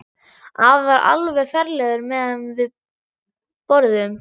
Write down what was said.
Afi var alveg ferlegur meðan við borðuðum.